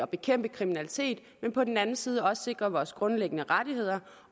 bekæmpe kriminalitet men på den anden side også at sikre vores grundlæggende rettigheder